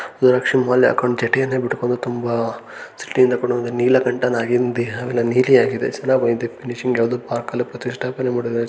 ಇದರಲ್ಲಿ ಶಿವಮಾಲೆ ಹಾಕಿಕೊಂಡು ಜಂಟಿಯನ್ನ ಬಿಟ್ಕೊಂಡು ತುಂಬ ಇಟ್ಕೊಂಡುಇದಾನೆ ನೀಲಕಂಠನಾಗಿ ನಿಂತಿದ್ದಾನೆ ನೀಲಿಯಾಗಿದೆ ಚೆನ್ನಾಗಿದೆ ಫಿನಿಶಿಂಗ್ ಎಲ್ಲ ಯಾವದೋ ಪಾರ್ಕ್ ಅಲ್ಲಿ ಪ್ರತಿಷ್ಠಾಪನೆ ಮಾಡಿದ್ದಾರೆ.